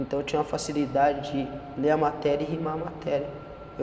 Então eu tinha uma facilidade de ler a matéria e rimar a matéria. Eu